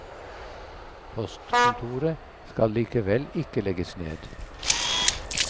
Postkontoret skal likevel ikke legges ned.